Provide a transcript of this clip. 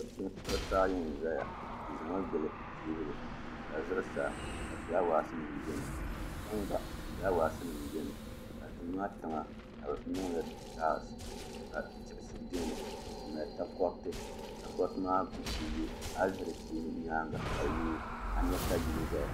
kuɣisi ayi n-zaya di zami gili teebuli ka zuɣsaa ka fulaawaasi beni tiŋa gba fulaawaasi beni ka duu maa tiŋa ka bɛ niŋ li tallisi ka diɣisi beni n-nyɛ takɔriti takɔriti maa bi yo a yi lihi di nyaaŋga ka a nya ka yili zaya